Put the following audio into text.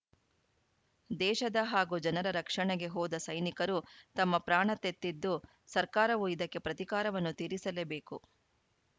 ದೇಶದ ಹಾಗೂ ಜನರ ರಕ್ಷಣೆಗೆ ಹೋದ ಸೈನಿಕರು ತಮ್ಮ ಪ್ರಾಣತೆತ್ತಿದ್ದು ಸರ್ಕಾರವು ಇದಕ್ಕೆ ಪ್ರತಿಕಾರವನ್ನು ತೀರಿಸಲೇಬೇಕು